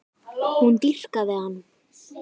Hún dýrkaði hann.